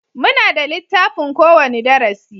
Muna da littafin ko wani darasi